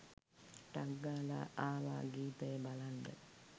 ටක් ගාලා ආවා ගීතය බලන්ඩ